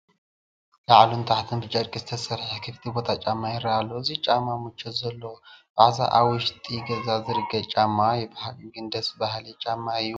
ላዕልን ታሕቱን ብጨርቂ ዝተሰርሐ ክፍቲ ጫማ ይርአ ኣሎ፡፡ እዚ ጫማ ምቾት ዘለዎ ብኣብዝሓ ኣብ ውሽጢ ገዛ ዝርገፅ ጫማ እዩ፡፡ ብሓቂ ግን ደስ በሃሊ ጫማ እዩ፡፡